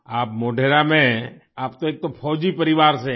आप मोढेरा में आप तो एक तो फौजी परिवार से है